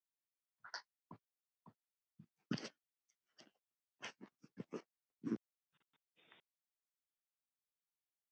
Lítil reisn er linum hjá.